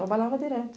Trabalhava direto.